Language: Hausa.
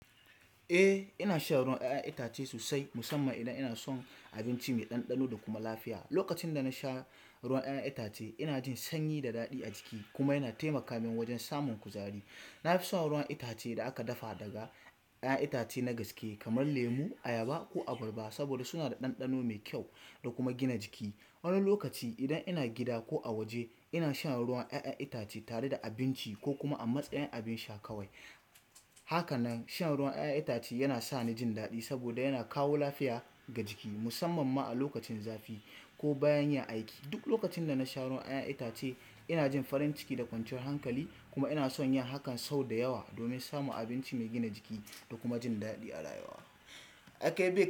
Eh ina shan ruwan ƴaƴan itace sosai musamman idan inasan abinci mai ɗanɗano da kuma lafiya. Lokacin da na sha ruwan 'ya'yan itace ina jin sanyi da daɗi a jiki kuma yana taimaka min wajen samun kuzari. Na fi son ruwan itace da aka dafa daga 'ya'yan itace na gaske kamar lemu, ayaba ko abarba saboda suna da ɗanɗano mai kyau da kuma gina jiki. Wani lokaci idan ina gida ko a waje ina sha ruwan 'ya'yan itace tare da abinci ko kuma a matsayin abin sha kawai. Hakanan shan ruwan 'ya'yan itace yana sa ni jin daɗi saboda yana kawo lafiya ga jiki musamman ma a lokacin zafi ko bayan yin aiki. Duk lokacin da na sha ruwan 'ya'yan itace ina jin farin ciki da kwanciyar hankali kuma ina son yin hakan sau da yawa domin samun abinci mai gina jiki da kuma jin daɗi a rayuwa.